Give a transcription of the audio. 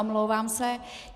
Omlouvám se.